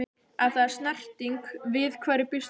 Ef það er snerting- við hverju býst fólk?